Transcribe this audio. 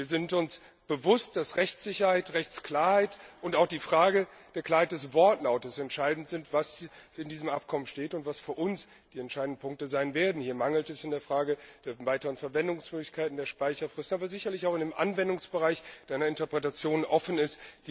Wir sind uns bewusst, dass Rechtssicherheit, Rechtsklarheit und auch die Frage der Klarheit des Wortlauts entscheidend sind, also was in diesem Abkommen steht und was für uns die entscheidenden Punkte sein werden. Hier mangelt es in der Frage der weiteren Verwendungsmöglichkeiten, der Speicherfristen, aber sicherlich auch hinsichtlich des Anwendungsbereichs, der in der Interpretation offen ist.